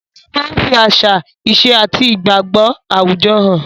Òwe máa ń fi àṣà, ìṣe àti igbagbo àwùjọ hàn.